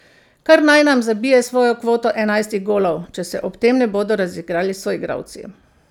Kar naj nam zabije svojo kvoto enajstih golov, če se ob tem ne bodo razigrali soigralci.